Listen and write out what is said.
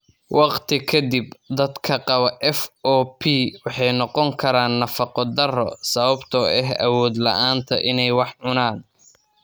Waqti ka dib, dadka qaba FOP waxay noqon karaan nafaqo darro sababtoo ah awood la'aanta inay wax cunaan.